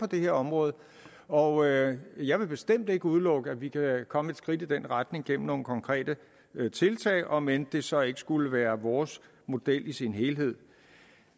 det her område og jeg jeg vil bestemt ikke udelukke at vi kan komme et skridt i den retning gennem nogle konkrete tiltag om end det så ikke skulle være vores model i sin helhed